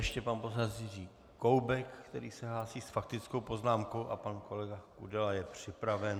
Ještě pan poslanec Jiří Koubek, který se hlásí s faktickou poznámkou, a pan kolega Kudela je připraven.